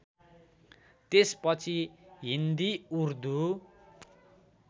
त्यसपछि हिन्दी उर्दू